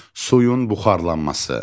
Suyun buxarlanması.